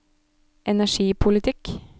energipolitikk